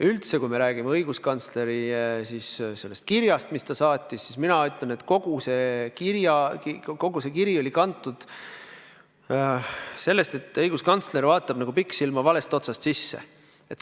Üldse, kui me räägime õiguskantsleri kirjast, mille ta saatis, siis mina ütlen, et õiguskantsler vaatab nagu pikksilma valest otsast sisse.